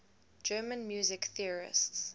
german music theorists